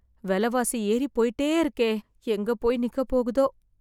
வெலவாசி ஏறிப்போய்ட்டே இருக்கே... எங்கே போய் நிக்கப் போகுதோ...